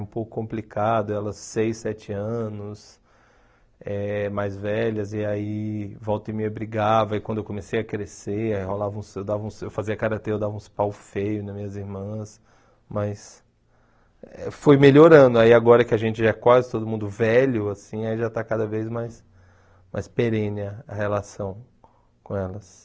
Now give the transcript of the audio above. Um pouco complicado, elas seis, sete anos, eh mais velhas, e aí volta e meia brigava, e quando eu comecei a crescer, rolava uns eu dava uns eu fazia karatê, eu dava uns pau feio nas minhas irmãs, mas foi melhorando, aí agora que a gente é quase todo mundo velho, assim, aí já está cada vez mais mais perene a relação com elas.